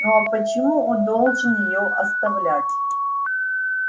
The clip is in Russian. ну а почему он должен её оставлять